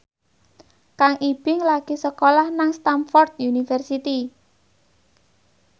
Kang Ibing lagi sekolah nang Stamford University